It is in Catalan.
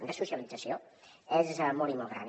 de socialització és molt i molt gran